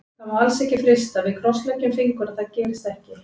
Það má alls ekki frysta, við krossleggjum fingur að það gerist ekki.